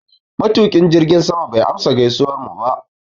Matuƙin jirgin sama bai amsa gaisuwarmu ba.